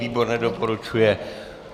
Výbor nedoporučuje.